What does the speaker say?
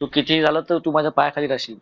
तू कितीही झाल तरी तू माझ्या पाया खाली राहशील